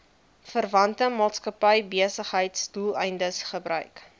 verwante maatskappybesigheidsdoeleindes gebruik